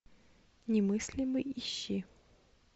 немыслимый ищи